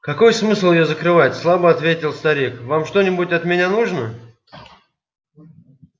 какой смысл её закрывать слабо ответил старик вам что-нибудь от меня нужно